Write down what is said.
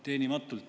Teenimatult.